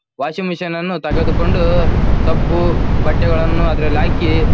washing machine ನ್ನು ತೆಗೆದುಕೊಂಡು ಸಬ್ ಬಟ್ಟೆಗಳನ್ನು ಅದರಲ್ಲಿ ಹಾಕಿ--